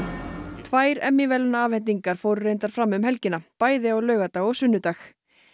tvær verðlaunaafhendingar fóru reyndar fram um helgina bæði á laugardag og sunnudag